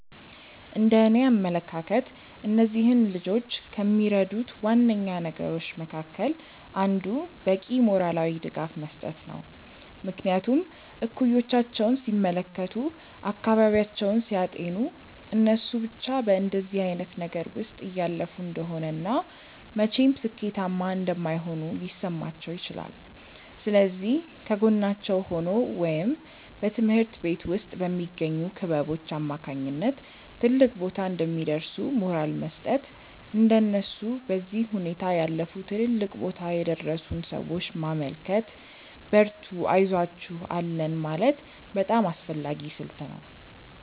እንደእኔ አመለካከት እነዚህን ልጆች ከሚረዱት ዋነኛ ነገሮች መካከል አንዱ በቂ ሞራላዊ ድጋፍ መስጠት ነው። ምክንያቱም እኩዮቻቸውን ሲመለከቱ፤ አካባቢያቸውን ሲያጤኑ እነሱ ብቻ በእንደዚህ አይነት ነገር ውስጥ እያለፉ እንደሆነ እና መቼም ሥኬታማ እንደማይሆኑ ሊሰማቸው ይችላል። ስለዚህ ከጎናቸው ሆኖ ወይም በትምሀርት ቤት ውስጥ በሚገኙ ክበቦች አማካኝነት ትልቅ ቦታ እንደሚደርሱ ሞራል መስጠት፤ እንደነሱ በዚህ ሁኔታ ያለፉ ትልልቅ ቦታ የደረሱን ሰዎች ማመልከት፤ በርቱ አይዞአችሁ አለን ማለት በጣም አስፈላጊ ስልት ነው።